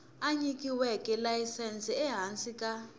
a nyikiweke layisense ehansi ka